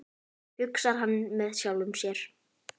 hugsar hann með sjálfum sér.